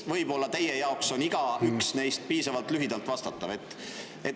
Võib-olla on igaüks neist teie arvates piisavalt lühidalt vastatav.